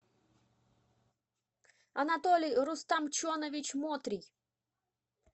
анатолий рустамчонович мотрий